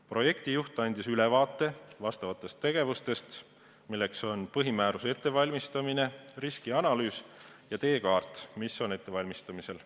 Projektijuht andis ülevaate sellekohasest tegevusest, milleks on põhimääruse ettevalmistamine, riskianalüüs ja teekaart, mis on ettevalmistamisel.